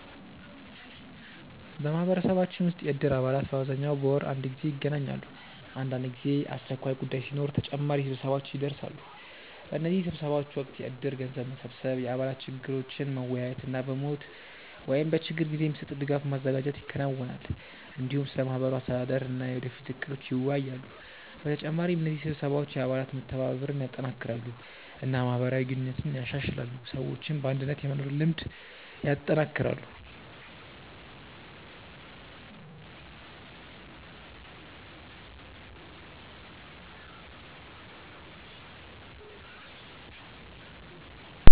በማህበረሰባችን ውስጥ የእድር አባላት በአብዛኛው በወር አንድ ጊዜ ይገናኛሉ። አንዳንድ ጊዜ ግን አስቸኳይ ጉዳይ ሲኖር ተጨማሪ ስብሰባዎች ይደርሳሉ። በእነዚህ ስብሰባዎች ወቅት የእድር ገንዘብ መሰብሰብ፣ የአባላት ችግሮችን መወያየት እና በሞት ወይም በችግር ጊዜ የሚሰጥ ድጋፍ ማዘጋጀት ይከናወናል። እንዲሁም ስለ ማህበሩ አስተዳደር እና የወደፊት እቅዶች ይወያያሉ። በተጨማሪ እነዚህ ስብሰባዎች የአባላት መተባበርን ያጠናክራሉ እና ማህበራዊ ግንኙነትን ያሻሽላሉ፣ ሰዎችም በአንድነት የመኖር ልምድ ያጠናክራሉ።